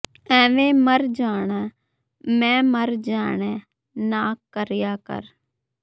ਐਵੇਂ ਮਰ ਜਾਣੈ ਮੈਂ ਮਰ ਜਾਣੈ ਨਾ ਕਰਿਆ ਕਰ